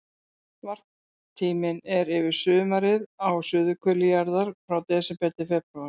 Varptíminn er yfir sumarið á suðurhveli jarðar, frá desember til febrúar.